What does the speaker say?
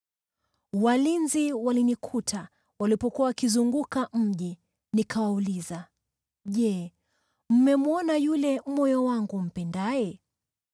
Walinzi walinikuta walipokuwa wakizunguka mji. Nikawauliza, “Je, mmemwona yule moyo wangu umpendaye?”